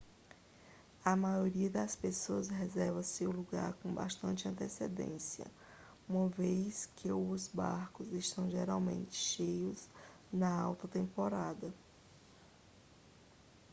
a maioria das pessoas reserva seu lugar com bastante antecedência uma vez que o barcos estão geralmente cheios na alta temporada